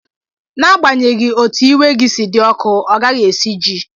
N'agbanyeghị otú iwe gị si dị ọkụ, ọ gaghị esiji ji.